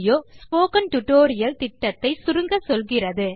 இது spoken tutorial project ஐ சுருக்கமாக சொல்லுகிறது